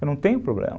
Eu não tenho problema.